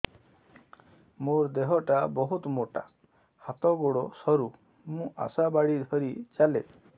ମୋର ଦେହ ଟା ବହୁତ ମୋଟା ହାତ ଗୋଡ଼ ସରୁ ମୁ ଆଶା ବାଡ଼ି ଧରି ଚାଲେ